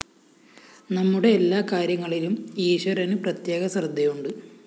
നമ്മുടെ എല്ലാ കാര്യങ്ങളിലും ഈശ്വരനു പ്രത്യേക ശ്രദ്ധയുണ്ട്